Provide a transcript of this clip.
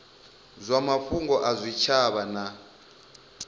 dza mafhungo a zwitshavha na